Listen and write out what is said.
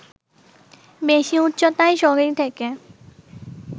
বেশি উচ্চতায় শরীর থেকে